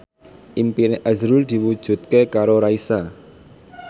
impine azrul diwujudke karo Raisa